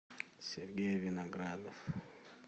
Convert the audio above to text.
сергей виноградов